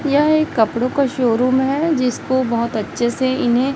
यह एक कपड़ों का शोरूम है जिसको बहोत अच्छे से इन्हें--